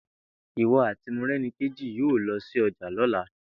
Ìwo̩ àti Moré̩niké̩ yóò lo̩ sí o̩jà ló̩la!